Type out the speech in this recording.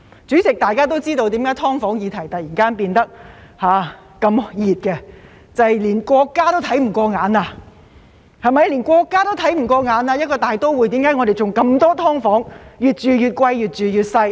主席，大家都知道為甚麼"劏房"議題突然變成熱話，這是因為連國家也看不過眼了，為甚麼一個大都會會有很多"劏房"，越住越貴、越住越細。